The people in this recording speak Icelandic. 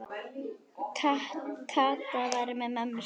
Kata var með mömmu sinni.